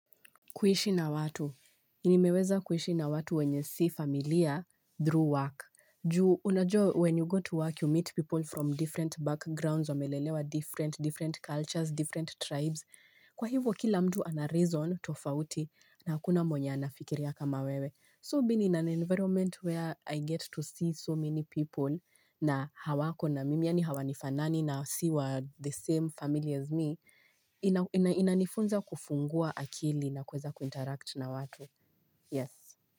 Kuhishi na watu. Nimeweza kuhishi na watu wenye si familia through work. Juu, unajua, when you go to work, you meet people from different backgrounds, wamelelewa different, cultures, different tribes. Kwa hivo, kila mtu anareason, tofauti, na hakuna moja anafikiria kama wewe. So, being in an environment where I get to see so many people, na hawako na mimi, yani hawanifanani, na siwa the same family as me, inanifunza kufungua akili na kuweza kuinteract na watu. Yes.